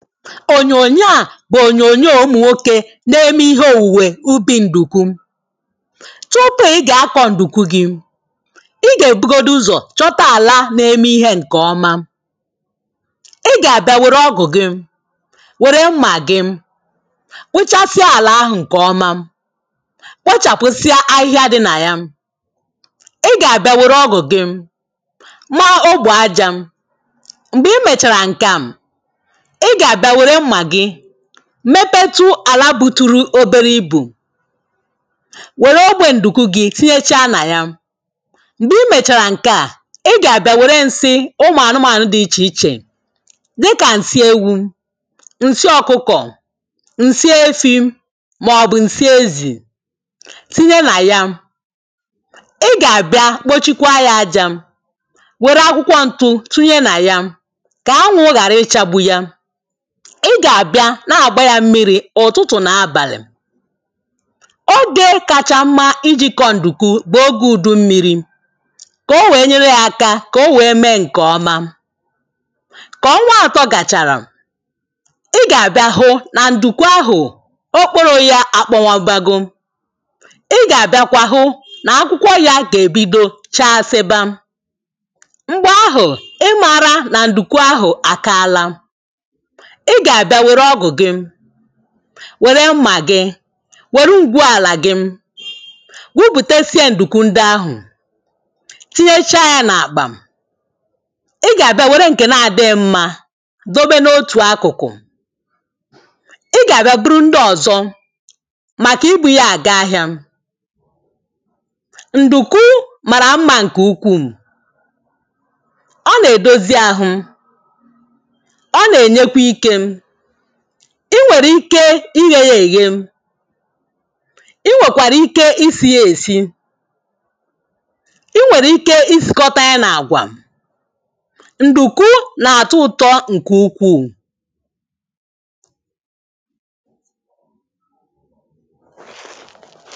ònyònyo a bụ ònyònyo ụmụ nwokė na-eme ihe òwùwè ubi̇ ǹdùkwu. Tupu ị gà-akọ̀ ǹdùkwu gị,̇ ị gà-èbugodu ụzọ̀ chọta àla na-eme ihe ǹkè ọma, ị gà-àbịa wère ọgụ̀ gị, wère mmà gị, kpụchasịa àlà ahụ̀ ǹkè ọma, kpochàpụ̀sịa ahịhịa dị nà ya. ị gà-àbịa wère ọgụ̀ gị, maa ogbù ajȧ. Mgbè i mèchàrà ǹke a, i gà-àbịa nwèrè mmȧ gị mepetu àlà buturu obere ibù, wère ogbe ǹdùku gị tinyecha nà ya. Mgbe i mèchàrà ǹke à, i gà-àbịa wère ǹsị ụmụ̀ anụmànụ dị̇ ichè ichè. Dị kà ǹsị ewu,̇ ǹsị ọkụkọ̀, ǹsị efi màọbụ̀ ǹsị ezì tinye nà ya. Ị gà-àbịa kpochikwaa ya aja, wère akwụkwọ ntụ tunye nà ya, kà anwụ̇ ghàra ị chagbu ya. ị gà-àbịa na-àgba yȧ mmiri,̇ ụ̀tụtụ̀ nà abàlị̀. Ogė kacha mma iji̇ kọ̀ ǹdùkuu bụ̀ ogė ùdummiri,̇ kà o wèe nyere ya aka kà o wèe mee ǹkè ọma. Kà ọnwa atọ gàchàrà, ị gà-àbịa hụ nà ndùkwu ahụ̀, okporo ya àkpọwàbagȯ. Ị gà-àbịakwa hụ nà akwụkwọ ya gà-èbido chaa sịba. Mgbè ahụ̀, ị mara nà ndùkwu ahụ̀ àkaala. Ị gà-àbịa wère ọgụ gị, wère mmà gị, wère ngwu àlà gị, gwupùtesie ǹdùkwu ndị ahụ̀, tinyecha yȧ n’àkpà. Ị gà-àbịa wère ǹkè nȧ-ȧdịghi mma, dobe n’otù akụ̀kụ̀. ị gà-àbịa bụrụ ndị ọ̀zọ, màkà ibu̇ yȧ àga ahịȧ. Ndùkụ màrà mmȧ ǹkè ukwuù. ọ nà-èdozi ahụ, o na ènyekwa ikė.̇ ị nwèrè ike ighė yà èghe. Ị nwèkwàrà ike isi̇ ya èsi, ị nwèrè ike isìkọta ya nà àgwà. Ndùku n’àtụ ụtọ ǹkè ukwuù.